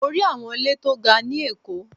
Mo rí àwọn ilé tó ga ni èkó